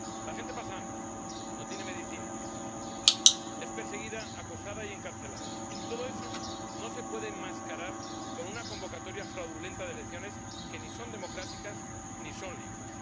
La gente pasa hambre, no tiene medicinas, es perseguida, acosada y encarcelada. Y todo eso no se puede enmascarar con una convocatoria fraudulenta de elecciones que ni son democráticas ni son libres.